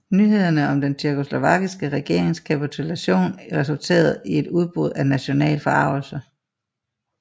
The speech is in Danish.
Nyhederne om den tjekkoslovakiske regerings kapitulation resulterede i et udbrudd af national forargelse